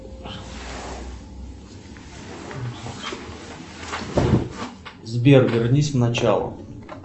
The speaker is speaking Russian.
сбер вернись в начало